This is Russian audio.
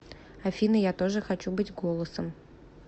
афина я тоже хочу быть голосом